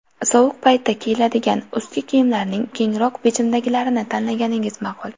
Sovuq paytda kiyiladigan ustki kiyimlarning kengroq bichimdagilarini tanlaganingiz ma’qul.